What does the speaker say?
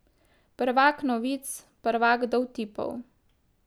Prvak novic, prvak dovtipov.